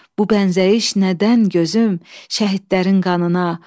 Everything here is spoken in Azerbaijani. Bu bənzəyiş nədən gözüm, şəhidlərin qanına?